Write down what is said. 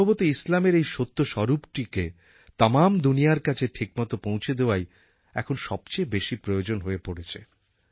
সম্ভবত ইসলামের এই সত্য স্বরূপটিকে তামাম দুনিয়ার কাছে ঠিকমতো পৌঁছে দেওয়াই এখন সবচেয়ে বেশি প্রয়োজন হয়ে পড়েছে